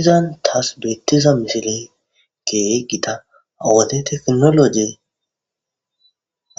Izan taas beetiza misiley keehi gita ha wode tekinoloje